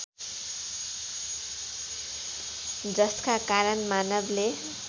जसका कारण मानवले